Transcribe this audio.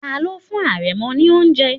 Tani ó fún àrẹ̀mọ ní oúnjẹ?